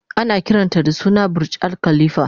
Ana kiranta da suna "Burj Al khalifa"